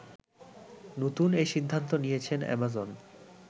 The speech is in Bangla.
নতুন এ সিদ্ধান্ত নিয়েছে অ্যামাজন